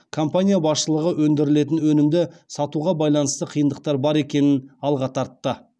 компания басшылығы өндірілетін өнімді сатуға байланысты қиындықтар бар екенін алға тартты